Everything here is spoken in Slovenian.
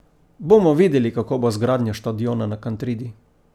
Bomo videli, kako bo z gradnjo štadiona na Kantridi.